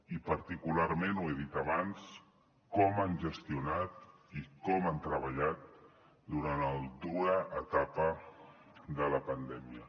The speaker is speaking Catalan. i particularment ho he dit abans com han gestionat i com han treballat durant la dura etapa de la pandèmia